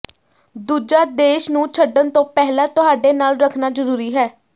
ਦੂਜਾ ਦੇਸ਼ ਨੂੰ ਛੱਡਣ ਤੋਂ ਪਹਿਲਾਂ ਤੁਹਾਡੇ ਨਾਲ ਰੱਖਣਾ ਜ਼ਰੂਰੀ ਹੈ